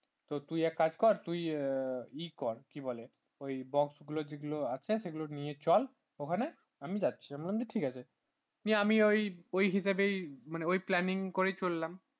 তো তুই এক কাজ কর তুই ই কর কি বলে box গুলো যেগুলো আছে সেগুলো নিয়ে যায় ওখানে আমি যাচ্ছিলাম বললাম তো ঠিক আছে ওই planning করেই চললাম।